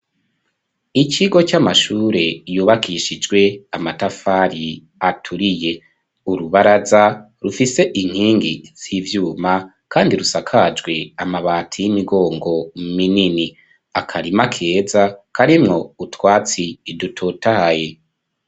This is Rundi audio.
Amashure yubakishijwe amatafari aturiye, kandi asakajwe amabati uruzitiro ruriko ibicapo bitandukanye harimwo n'abantu igiti cakuze kirasagarara gifise n'amashurwe.